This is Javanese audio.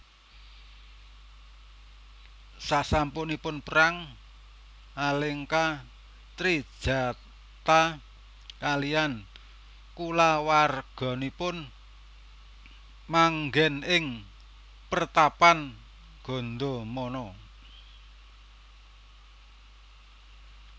Sasampunipun perang Alengka Trijatha kaliyan kulawarganipun manggèn ing pertapan Gandamana